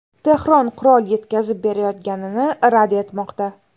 Tehron qurol yetkazib berayotganini rad etmoqda.